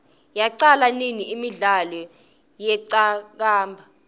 yaqala nini imidlalo yeqakamba